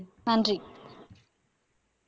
நன்றி